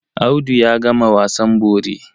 Audu ya gama wasan bori.